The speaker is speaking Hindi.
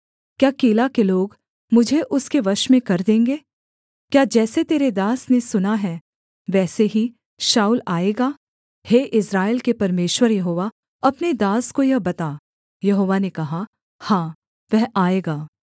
क्या कीला के लोग मुझे उसके वश में कर देंगे क्या जैसे तेरे दास ने सुना है वैसे ही शाऊल आएगा हे इस्राएल के परमेश्वर यहोवा अपने दास को यह बता यहोवा ने कहा हाँ वह आएगा